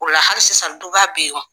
O la hali sisan duba bɛ yen nɔ.